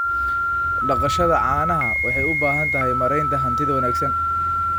Dhaqashada caanaha waxay u baahan tahay maaraynta hantida wanaagsan.